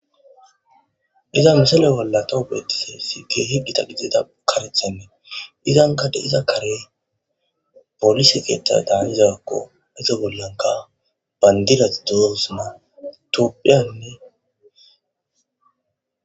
Iza misale bolla tawhubeetiseesi geehi dita gideda karethennee izankade iza kare polise geetta daanizakko iza bollanka bayndilat duzosma tophiyanne.